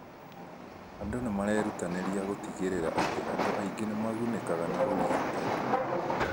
Andũ nĩ marerutanĩria gũtigĩrĩra atĩ andũ aingĩ nĩ magunĩkaga nĩ ũrigitani.